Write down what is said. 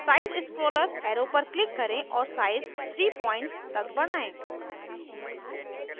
size scroller arrow पर click करें और size 30 pts points तक बढ़ाएं